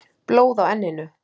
Blóð á enninu.